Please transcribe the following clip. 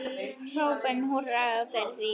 Hrópum húrra fyrir því.